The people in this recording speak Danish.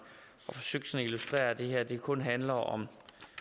og forsøgte at illustrere at det her kun handler om